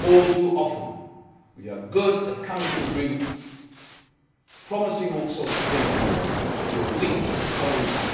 All too often we are good at coming to agreements, promising all sorts of things, but we are weak at following up,